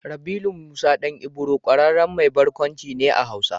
Rabilu Musa ɗan Ibro ƙwararren mai barkwanci ne a Hausa.